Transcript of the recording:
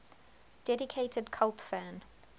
dedicated cult fan